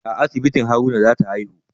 A asibitin Haruna za ta haihu